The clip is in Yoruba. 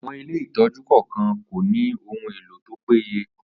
Àwọn ilé ìtọ́jú kọ̀ọ̀kan kò ní ohun elo tó péye.